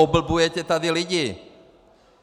Oblbujete tady lidi!